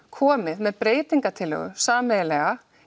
komið með breytingartillögu sameiginlega